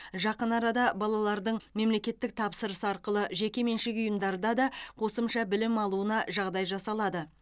жақын арада балалардың мемлекеттік тапсырыс арқылы жекеменшік ұйымдарда да қосымша білім алуына жағдай жасалады